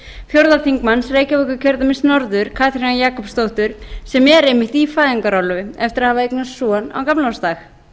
háttvirtur fjórði þingmaður reykjavíkurkjördæmis norður katrínar jakobsdóttur sem er einmitt í fæðingarorlofi eftir að hafa eignast son á gamlársdag